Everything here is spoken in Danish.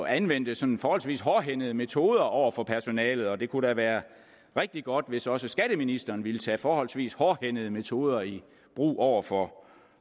anvendte sådan forholdsvis hårdhændede metoder over for personalet og det kunne da være rigtig godt hvis også skatteministeren ville tage forholdsvis hårdhændede metoder i brug over for